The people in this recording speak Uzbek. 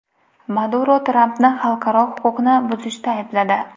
Maduro Trampni xalqaro huquqni buzishda aybladi.